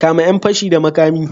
Kame yan fashi da makami.